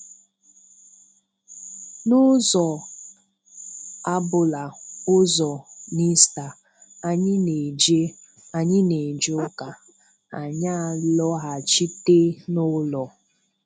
N'ụzọ abụla ụzọ n'Ista, anyị na-eje anyị na-eje ụka, anyị alọghachite n'ụlọ.